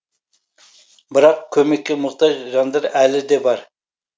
бірақ көмекке мұқтаж жандар әлі де бар